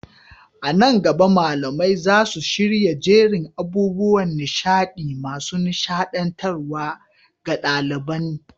A nan gaba, malamai za su shirya jerin abubuwan nishaɗi masu nishaɗantarwa ga ɗaliban.